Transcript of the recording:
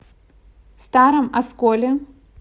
старом осколе